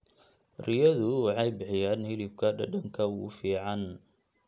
Riyadu waxay bixiyaan hilibka dhadhanka ugu fiican.